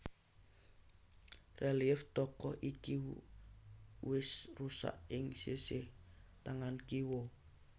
Relief tokoh iki wus rusak ing sisih tangan kiwa